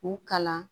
K'u kalan